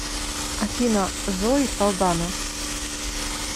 афина зои салдана